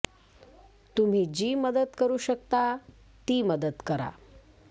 तुम्ही जी मदत करु शकता ती मदत करा